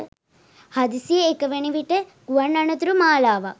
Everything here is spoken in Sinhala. හදිසියේ එක විට වන ගුවන් අනතුරු මාලාවක්.